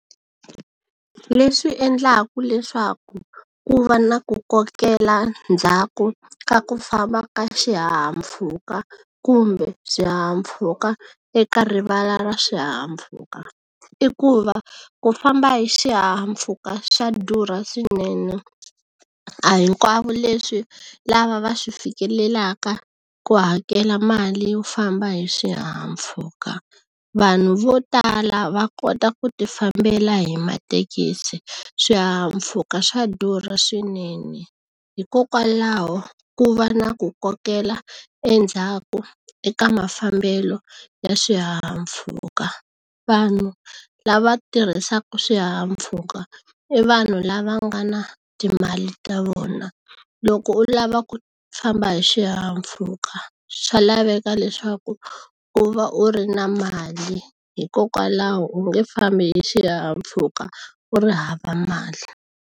Leswi endlaku leswaku ku va na ku kokela ndzhaku ka ku famba ka swihahampfhuka kumbe swihahampfhuka eka rivala ra swihahampfhuka i ku va ku famba hi xihahampfhuka swa durha swinene a hinkwavo leswi lava va swi fikelelaka ku hakela mali yo famba hi swihahampfhuka vanhu vo tala va kota ku ti fambela hi matekisi swihahampfhuka swa durha swinene hikokwalaho ku va na ku kokela endzhaku eka mafambelo ya swihahampfhuka vanhu lava tirhisaku swihahampfhuka i vanhu lava nga na timali ta vona loko u lava ku famba hi xihahampfhuka swa laveka leswaku u va u ri na mali hikokwalaho u nge fambi hi xihahampfhuka u ri hava mali.